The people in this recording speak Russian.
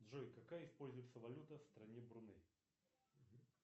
джой какая используется валюта в стране бруней